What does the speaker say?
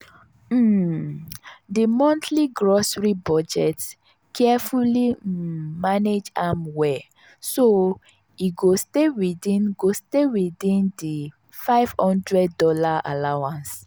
um di montly grocery budget carefully um manage am well so e go stay within go stay within di five hundred dollars allowance.